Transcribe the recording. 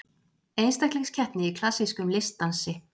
Einstaklingskeppni í klassískum listdansi